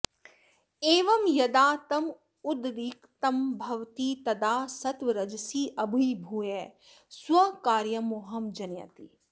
एवं यदा तम उद्रिक्तं भवति तदा सत्त्वरजसी अभिभूय स्वकार्यं मोहं जनयति